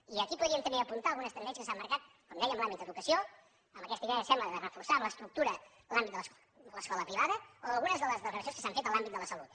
i aquí podríem també apuntar algunes tendències que s’han marcat com deia en l’àmbit d’educació amb aquesta idea sembla de reforçar en l’estructura l’àmbit de l’escola privada o algunes de les declaracions que s’han fet en l’àmbit de la salut